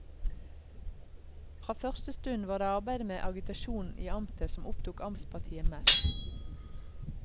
Fra første stund var det arbeidet med agitasjon i amtet som opptok amtspartiet mest.